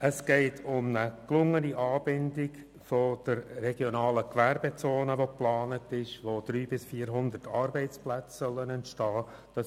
Es geht um eine gelungene Anbindung der geplanten regionalen Gewerbezone, in der 300 bis 400 Arbeitsplätze entstehen sollen.